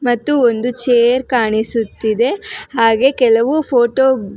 ಮತ್ತು ಒಂದು ಚೇರ್ ಕಾಣಿಸುತ್ತಿದೆ ಹಾಗೆ ಕೆಲವು ಫೋಟೋ .